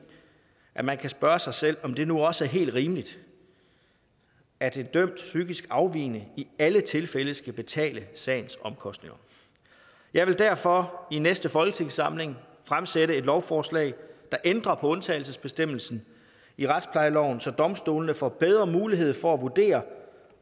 at man kan spørge sig selv om det nu også er helt rimeligt at en dømt psykisk afvigende i alle tilfælde skal betale sagens omkostninger jeg vil derfor i næste folketingssamling fremsætte et lovforslag der ændrer på undtagelsesbestemmelsen i retsplejeloven så domstolene får bedre mulighed for at vurdere